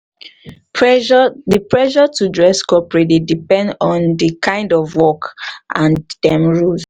pressure di pressure to dress coperate dey depend on di kind of work and dem rules